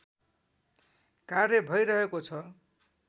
कार्य भैरहेको छ